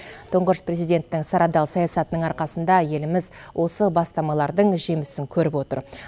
тұңғыш президенттің сарабдал саясатының арқасында еліміз осы бастамалардың жемісін көріп отыр